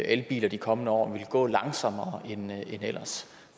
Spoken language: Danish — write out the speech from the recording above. elbiler de kommende år vil gå langsommere end ellers